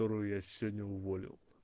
которую я сегодня уволил